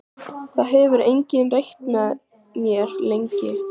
Það hefur enginn reykt með mér lengi.